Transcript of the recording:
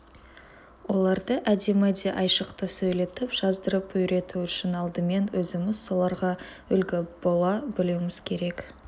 оларды әдемі де айшықты сөйлетіп жаздырып үйрету үшін алдымен өзіміз соларға үлгі бола білуіміз керек